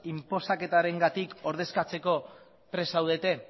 inposaketarengatik ordezkatzeko prest zaudete